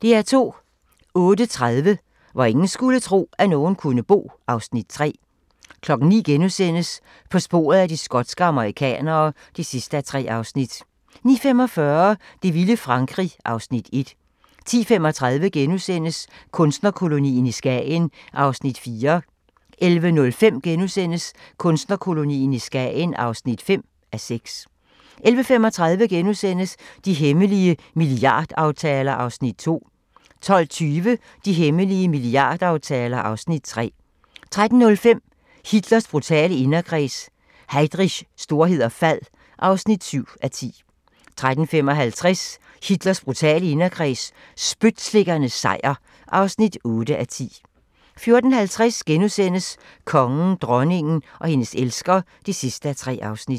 08:30: Hvor ingen skulle tro, at nogen kunne bo (Afs. 3) 09:00: På sporet af de skotske amerikanere (3:3)* 09:45: Det vilde Frankrig (Afs. 1) 10:35: Kunstnerkolonien i Skagen (4:6)* 11:05: Kunstnerkolonien i Skagen (5:6)* 11:35: De hemmelige milliardaftaler (Afs. 2)* 12:20: De hemmelige milliardaftaler (Afs. 3) 13:05: Hitlers brutale inderkreds – Heydrichs storhed og fald (7:10) 13:55: Hitlers brutale inderkreds – spytslikkernes sejr (8:10) 14:50: Kongen, dronningen og hendes elsker (3:3)*